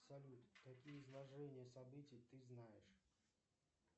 салют какие изложения событий ты знаешь